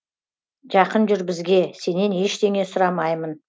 жақын жүр бізге сенен ештеңе сұрамаймын